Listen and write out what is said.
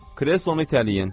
Kreslonu itələyin.